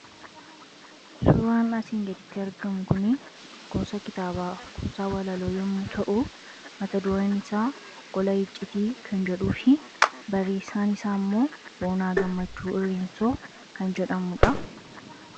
Suuraan asii gaditti argamu gosa kitaabaa kuusaa walaloo yommuu ta'u, mat-dureen isaa 'Gola Icciitii" kan jedhuu fi barreessaan isaammoo Boonaa Gammachuu Irreensoo kan jedhamudha.